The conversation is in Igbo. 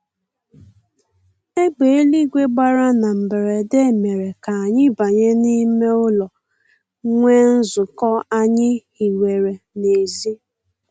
Egbe eluigwe gbara na mberede mere k'anyị banye n'ime ụlọ nwee nzukọ anyị hiwere n'ezi